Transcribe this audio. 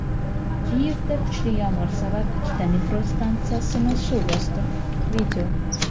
Kiyevda kuchli yomg‘ir sabab ikkita metro stansiyasini suv bosdi.